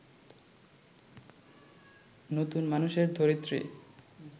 নতুন মানুষের ধরিত্রী